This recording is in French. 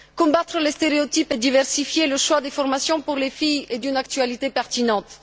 Combattre les stéréotypes et diversifier le choix des formations pour les filles est d'une actualité pertinente.